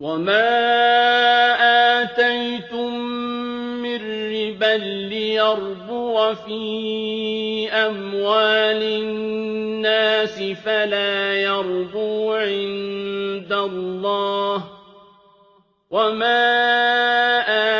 وَمَا آتَيْتُم مِّن رِّبًا لِّيَرْبُوَ فِي أَمْوَالِ النَّاسِ فَلَا يَرْبُو عِندَ اللَّهِ ۖ وَمَا